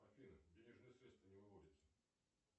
афина денежные средства не выводятся